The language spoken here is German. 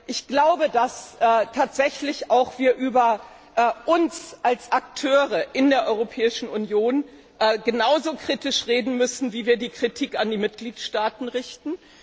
Ich glaube, dass wir auch über uns als Akteure in der Europäischen Union genauso kritisch reden müssen, wie wir die Kritik an die Mitgliedstaaten richten.